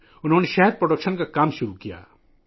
انہوں نے شہد کی پیداوار شروع کی